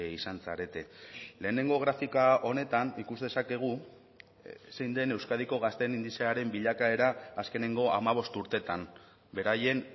izan zarete lehenengo grafika honetan ikus dezakegu zein den euskadiko gazteen indizearen bilakaera azkeneko hamabost urteetan beraien